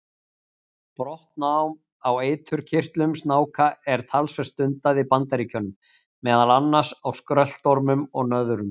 Brottnám á eiturkirtlum snáka er talsvert stundað í Bandaríkjunum, meðal annars á skröltormum og nöðrum.